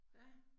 Ja